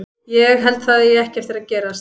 Ég held að það eigi ekki eftir að gerast.